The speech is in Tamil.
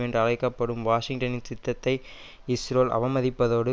என்று அழைக்க படும் வாஷிங்டனின் சித்தத்தை இஸ்ரோல் அவமதித்ததோடு